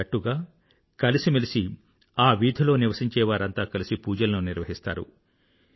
ఒక జట్టుగా కలిసిమెలసి ఆ వీధిలో నివసించేవారంతా కలిసి పూజలను నిర్వహిస్తారు